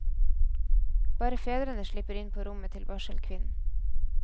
Bare fedrene slipper inn på rommet til barselkvinnen.